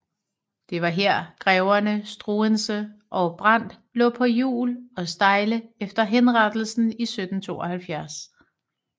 Det var her greverne Struensee og Brandt lå på hjul og stejle efter henrettelsen i 1772